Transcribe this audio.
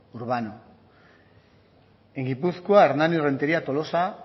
urbano en gipuzkoa hernani rentería tolosa